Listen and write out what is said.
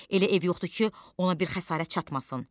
Elə ev yoxdur ki, ona bir xəsarət çatmasın.